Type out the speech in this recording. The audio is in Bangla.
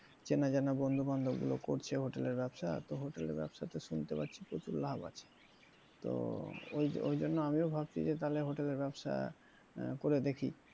চেনাজানা বন্ধুবান্ধব গুলো করছে hotel এর ব্যাবসা তো hotel এর ব্যাবসা তে শুনতে পাচ্ছি প্রচুর লাভ আছে, তো ওই ওই জন্য আমিও ভাবছি যে তালে hotel এর ব্যাবসা করে দেখি।